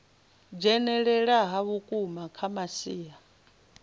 dzhenelela ha vhukuma kha masia